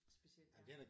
Specielt ja